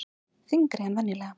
Þyngri en venjulega.